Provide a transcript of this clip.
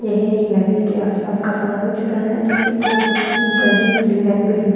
यह एक नदी के आसपास का सामूहिक चित्रण हैं जिसके पड़ोस में keep Panjim clean and green --